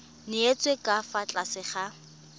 nyetswe ka fa tlase ga